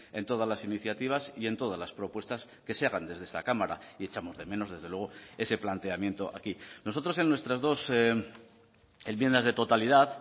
en todas las iniciativas y en todas las propuestas que se hagan desde esta cámara y echamos de menos desde luego ese planteamiento aquí nosotros en nuestras dos enmiendas de totalidad